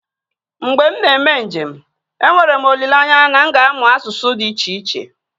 Mgbe m na-eme njem, enwere m olileanya na m ga-amụ asụsụ dị iche iche